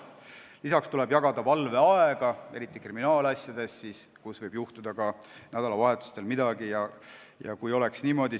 Lisaks tuleb jagada valveaega, eriti kriminaalasjades, sest ka nädalavahetustel võib midagi juhtuda.